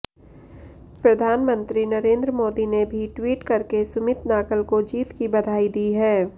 प्रधानमंत्री नरेंद्र मोदी ने भी ट्वीट करके सुमित नागल को जीत की बधाई दी है